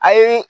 A ye